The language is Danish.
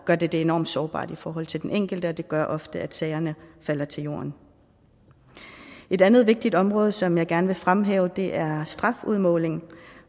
gør det det enormt sårbart i forhold til den enkelte og det gør ofte at sagerne falder til jorden et andet vigtigt område som jeg gerne vil fremhæve er strafudmåling